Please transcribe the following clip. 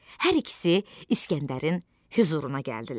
Hər ikisi İsgəndərin hüzuruna gəldilər.